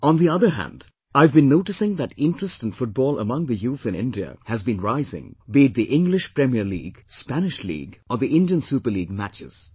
On the other hand, I have been noticing that interest in Football among the youth in India has been rising be it the English Premier League, Spanish League or the Indian Super League matches